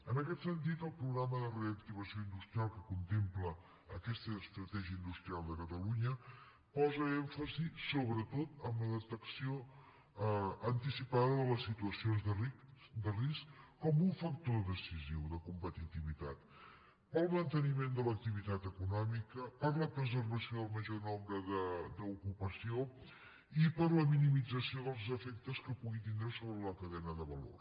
en aquest sentit el programa de reactivació industrial que contempla aquesta estratègia industrial de catalunya posa èmfasi sobretot en la detecció anticipada de les situacions de risc com un factor decisiu de competitivitat per al manteniment de l’activitat econòmica per a la preservació del major nombre d’ocupació i per a la minimització dels efectes que pugui tindre sobre la cadena de valor